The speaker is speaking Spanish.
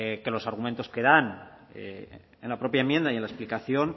que los argumentos que dan en la propia enmienda y en la explicación